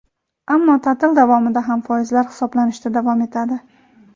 ammo ta’til davomida ham foizlar hisoblanishda davom etadi.